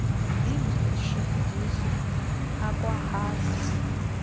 yindishi ndishi akwaaehaza